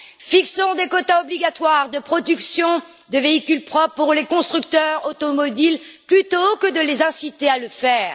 Fixons des quotas obligatoires de production de véhicules propres pour les constructeurs automobiles plutôt que de les inciter à le faire.